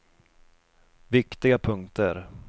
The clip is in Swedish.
viktiga punkter